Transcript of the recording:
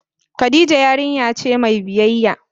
Khadijah yarinya ce mai biyyaya.